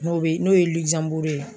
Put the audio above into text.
N'o bɛ n'o ye Ligizanburu ye